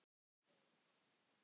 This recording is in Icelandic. Ég hef saknað þess.